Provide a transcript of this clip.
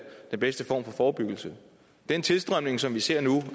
den bedste form for forebyggelse den tilstrømning som vi ser nu